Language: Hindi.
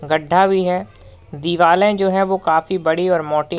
गड्ढा भी है दिवालें जो है वो काफी बड़ी और मोटी--